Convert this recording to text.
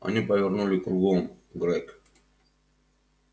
они повернули кругом грег